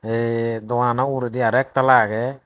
eei dogananaw ugredi aro ek tala agey.